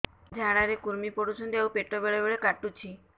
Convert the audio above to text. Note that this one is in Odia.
ଝାଡା ରେ କୁର୍ମି ପଡୁଛନ୍ତି ଆଉ ପେଟ ବେଳେ ବେଳେ କାଟୁଛି